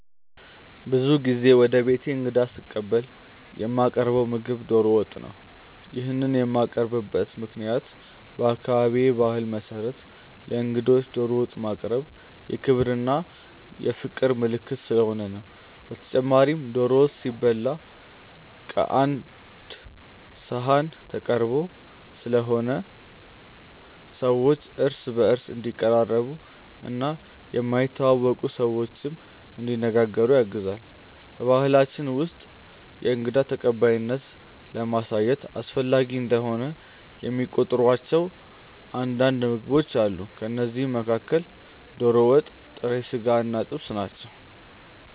ብዙ ጊዜ ወደ ቤቴ እንግዳ ስቀበል የማቀርው ምግብ ዶሮ ወጥ ነው። ይሄንን የማቀርብበት ምክንያትም በአካባቢዬ ባህል መሰረት ለእንግዶች ዶሮ ወጥ ማቅረብ የክብር እና የፍቅር ምልክት ስለሆነ ነው። በተጨማሪም ዶሮ ወጥ ሲበላ ቀአንድ ሰሀን ተቀርቦ ስለሆነ ሰዎች እርስ በእርስ እንዲቀራረቡ እና የማይተዋወቁ ሰዎችንም እንዲነጋገሩ ያግዛል። በባሕላችን ውስጥ የእንግዳ ተቀባይነትን ለማሳየት አስፈላጊ እንደሆነ የሚቆጥሯቸው አንዳንድ ምግቦች አሉ። ከእነዚህም መካከል ዶሮ ወጥ፣ ጥሬ ስጋ እና ጥብስ ናቸው።